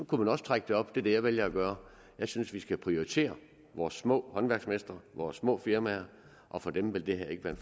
kunne man også trække det op er det jeg vælger at gøre jeg synes vi skal prioritere vores små håndværksmestre vores små firmaer og for dem vil det her ikke være